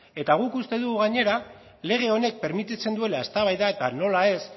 eta guk uste dugu gainera lege honek permititzen duela eztabaida eta nola ez